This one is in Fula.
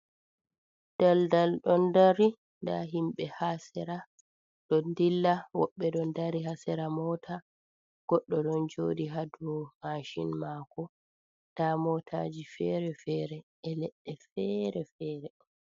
Daldal don dari, nda himbe ha sera don dilla, woɓbe don dari hasera mota. Goɗdo don jodi hadu macin mako, nda motaji fere-fere e ledde fere fere.